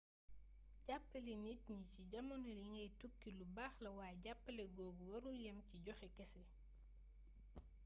jàppale nit ñi ci jamono ji ngay tukki lu baax la waaye jàppale googu warul yam ci joxe kese